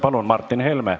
Palun, Martin Helme!